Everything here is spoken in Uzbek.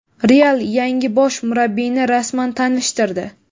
"Real" yangi bosh murabbiyni rasman tanishtirdi.